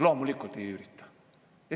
Loomulikult ei ürita.